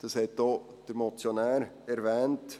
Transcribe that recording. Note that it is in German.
Das hat auch der Motionär erwähnt.